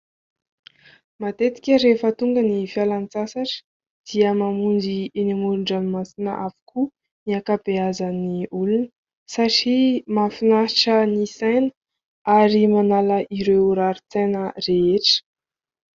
Matetika rehefa tonga ny fialan-tsasatra dia mamonjy eny amoron-dranomasina avokoa ny ankabeazan'ny olona satria mahafinaritra ny saina ary manala ireo rarin-tsaina rehetra.